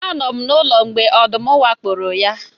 Anọ m n'ụlọ mgbe ọdụm wakporo ya